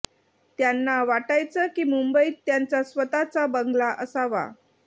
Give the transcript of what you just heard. त्यांना वाटायचं की मुंबईत त्यांचा स्वतःचा बंगला असावा